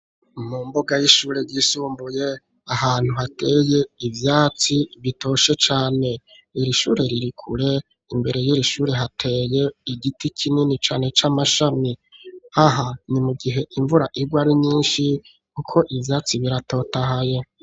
Mu mbuga y'ishure yisumbuye ahantu hateye ivyatsi bitoshe cane irishure ririkure imbere y'irishure hateye igiti kinini cane c'amashami haha ni mu gihe imvura irwe ari nyinshi, kuko ivyatsi biratotahaye.